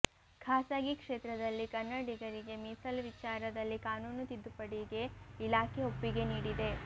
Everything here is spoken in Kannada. ಖಾಸಗಿ ಕ್ಷೇತ್ರದಲ್ಲಿ ಕನ್ನಡಿಗರಿಗೆ ಮೀಸಲು ವಿಚಾರದಲ್ಲಿ ಕಾನೂನು ತಿದ್ದುಪಡಿಗೆ ಇಲಾಖೆ ಒಪ್ಪಿಗೆ ನೀಡಿದೆ